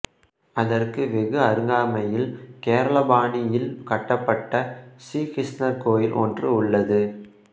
அதற்கு வெகு அருகாமையில் கேரளப்பாணியில் கட்டப்பட்ட ஸ்ரீகிருஷ்ணர் கோவில் ஒன்று உள்ளது